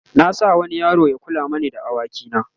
na sa wani yaro Ya kula mani da da awaki na